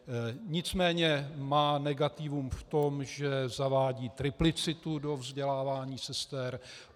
Nicméně má negativum v tom, že zavádí triplicitu do vzdělávání sester.